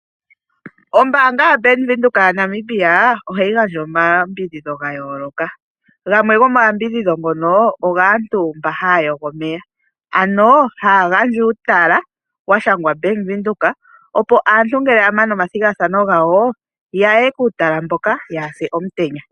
Ombanga ya Bank Wibdhoek ohayi gandja omayambidhidho gayooloka ,gamwe gomo mayambidhidho ngono, oga aantu mboka haya yogo omeya, ano haya gandja uutala washangwa Bank Windhoek, opo aantu ngele ya mana oma thigathano gawo, yaye kuutala mboka yaa hase omutenya.